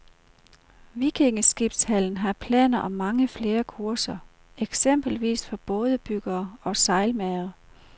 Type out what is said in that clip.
Vikingeskibshallen har planer om mange flere kurser, eksempelvis for bådebyggere og sejlmagere.